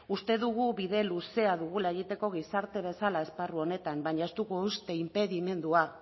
uste dugu bide luzea dugula egiteko gizarte bezala esparru honetan baina ez dugu uste inpedimendua